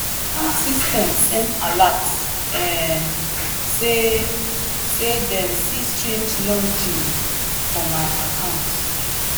bank system send alert um say say dem see strange login for my account.